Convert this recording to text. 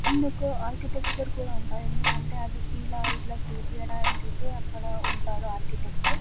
Architecture ఉంటుంది నేదుకంటే ఇలా ఇలా అని చేయించడానికి ఉంటాడు ఒక అర్చితెచ్ .